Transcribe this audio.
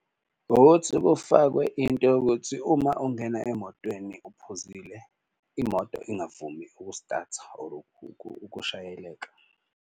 Ukuthi kufakwe into yokuthi uma ungena emotweni uphuzile, imoto ingavumi ukustatha or ukushayeleka.